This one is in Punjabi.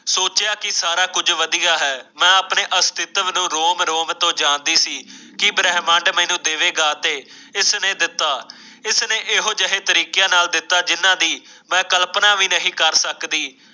ਸੋਚਿਆ ਕਿ ਸਾਰਾ ਕੁਝ ਵਧੀਆ ਹੈ ਮੈਂ ਆਪਣੇ ਅਸਤਿਤਵ ਨੂੰ ਰੋਮ-ਰੋਮ ਤੋਂ ਜਾਣਦੀ ਸੀ ਕੀ ਬ੍ਰਹਿਮੰਡ ਮੈਨੂੰ ਦੇਵੇਗਾ ਤੇ ਇਸ ਨੇ ਦਿੱਤਾ ਇਸ ਨੇ ਇਹੋ ਜਿਹੇ ਤਰੀਕੇ ਨਾਲ ਦਿੱਤਾ ਜਿੰਨਾਂ ਦੀ ਮੈਂ ਕਲਪਨਾ ਵੀ ਨਹੀਂ ਕਰ ਸਕਦੀ।